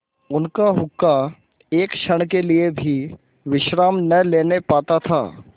उनका हुक्का एक क्षण के लिए भी विश्राम न लेने पाता था